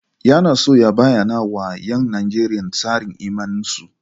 Yana so ya bayyana wa ‘yan Nijeriya tsarin imaninsu.